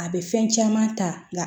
A bɛ fɛn caman ta